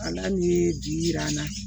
Ala ni bi yira an na